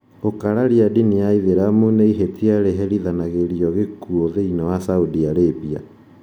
Gũkararia ndini ya ithĩramu nĩ ihĩtia rĩherithanagĩrio gĩkuũ thĩinĩ wa Saudi Arabia.